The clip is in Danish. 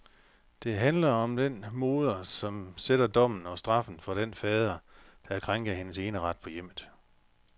Det handler om den moder, som sætter dommen og straffen for den fader, der krænker hendes eneret på hjemmet.